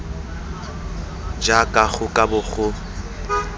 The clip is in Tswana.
jaaka go ka bo go